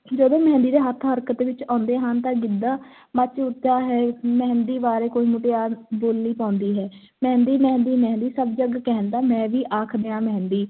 ਜਦੋਂ ਮਹਿੰਦੀ ਦੇ ਹੱਥ ਹਰਕਤ ਵਿੱਚ ਆਉਂਦੇ ਹਨ ਤਾਂ ਗਿੱਧਾ ਮੱਚ ਉੱਠਦਾ ਹੈ, ਮਹਿੰਦੀ ਬਾਰੇ ਕੋਈ ਮੁਟਿਆਰ ਬੋਲੀ ਪਾਉਂਦੀ ਹੈ, ਮਹਿੰਦੀ ਮਹਿੰਦੀ ਮਹਿੰਦੀ ਸਭ ਜੱਗ ਕਹਿੰਦਾ, ਮੈਂ ਵੀ ਆਖ ਦਿਆਂ ਮਹਿੰਦੀ,